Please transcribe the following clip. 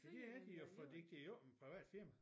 Det havde de jo fordi det jo ikke et privat firma